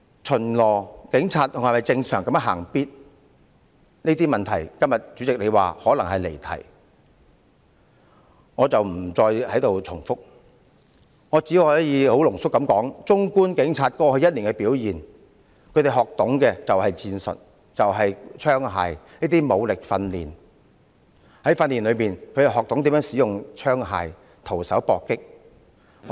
主席會說我談論這些問題是離題，我不再在此重複，我只能濃縮說，綜觀警察過去一年的表現，他們學懂的是戰術、槍械、武力訓練，在訓練過程中，他們學懂怎樣使用槍械、徒手搏擊。